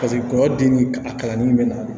Paseke kɔɲɔden ni a kalannin be na